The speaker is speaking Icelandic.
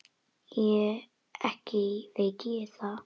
Ekki veit ég það.